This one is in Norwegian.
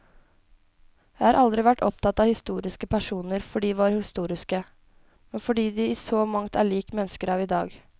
Jeg har aldri vært opptatt av historiske personer fordi de var historiske, men fordi de i så mangt er lik mennesker av i dag.